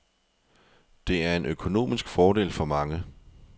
Det er en økonomisk fordel for mange.